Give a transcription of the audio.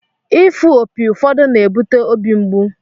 Ịfụ opi ụfọdụ na-ebute óbị mgbu